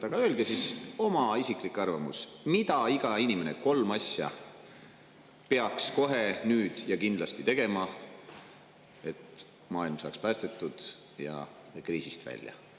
Öelge oma isiklik arvamus selle kohta, mis on kolm asja, mida peaks iga inimene nüüd kohe ja kindlasti tegema, et maailm saaks päästetud ja kriisist välja.